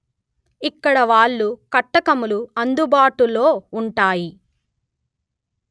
ఇక్కడ వాలు కటకములు అందుబాటులో ఉంటాయి